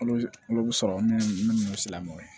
Olu bɛ sɔrɔ minnu silamɛw ye